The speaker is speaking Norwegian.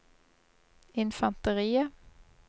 infanteriet